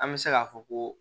An bɛ se k'a fɔ ko